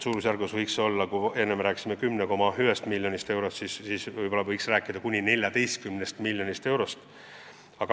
Suurusjärgud on sellised, et kui me enne rääkisime 10,1 miljonist eurost, siis nüüd võiks rääkida kuni 14 miljonist eurost.